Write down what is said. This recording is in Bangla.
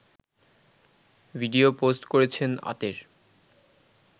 ভিডিও পোস্ট করেছেন আতের